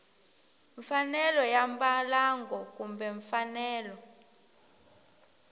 mfanelo ya mbalango kumbe mfanelo